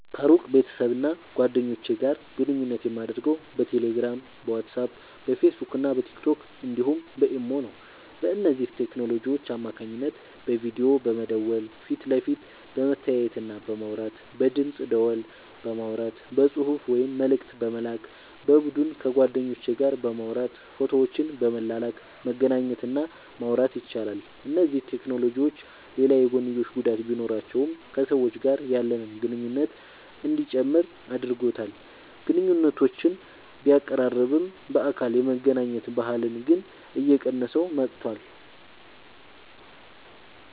ከሩቅ ቤተሰብና ጓደኞች ጋር ግንኙነት የማደርገው በቴሌግራም፣ በዋትስአፕ፣ በፌስቡክና በቲክቶክ እንዲሁም በኢሞ ነው። በእነዚህ ቴክኖሎጂዎች አማካኝነት በቪዲዮ በመደወል ፊት ለፊት በመተያየትና በማውራት፣ በድምፅ ደወል በማውራት፣ በጽሑፍ ወይም መልእክት በመላክ፣ በቡድን ከጓደኞች ጋር በማውራት ፎቶዎችን በመላላክ መገናኘት እና ማውራት ይቻላል። እነዚህ ቴክኖሎጂዎች ሌላ የጐንዮሽ ጉዳት ቢኖራቸውም ከሰዎች ጋር ያለንን ግንኙነት እንዲጨምር አድርጎታል። ግንኙነቶችን ቢያቀራርብም፣ በአካል የመገናኘት ባህልን ግን እየቀነሰው መጥቷል።